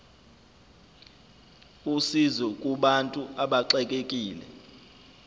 usizo kubantu abaxekekile